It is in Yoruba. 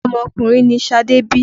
Ọmọkùnrin ni Ṣadé bí.